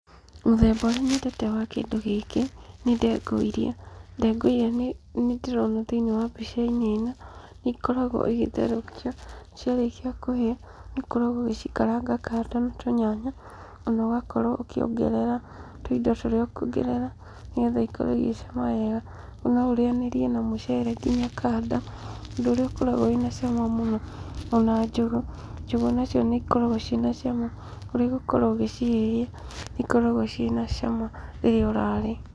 Mũthemba ũrĩa nyendete wa kĩndũ gĩkĩ, nĩ ndengũ iria, ndengũ iria nĩ ndĩrona thĩinĩ wa mbica-inĩ ĩno, nĩ ikoragwo igĩtherũkio, ciarĩkia kũhĩa, nĩ ũkoragwo ũgĩcikaranga kando na tũnyanya, ona ũgakorwo ũkĩongerera tũindo tũrĩa ũkwongerera nĩgetha ikorwo igĩcama wega. No ũrĩanĩrie na mũcere nginya kando, ũndũ ũrĩa ũkoragwo wĩna cama mũno, ona njũgũ, njũgũ nacio nĩ ikoragwo ciĩ na cama ũrĩ gũkorwo ũgĩcihĩhia, nĩ ikoragwo ciĩ na cama rĩrĩa ũrarĩa.